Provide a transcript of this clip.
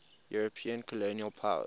european colonial powers